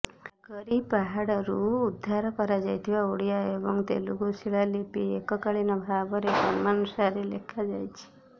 ନାଗରୀ ପାହାଡ଼ରୁ ଉଦ୍ଧାର କରାଯାଇଥିବା ଓଡ଼ିଆ ଏବଂ ତେଲୁଗୁ ଶିଳାଲିପି ଏକକାଳୀନ ଭାବରେ କ୍ରମାନୁସାରେ ଲେଖାଯାଇଛି